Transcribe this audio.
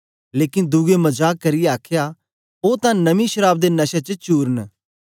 लेकन दुए मजाक करियै आखया ओ तां नमीं शराव दे नशे च चूर न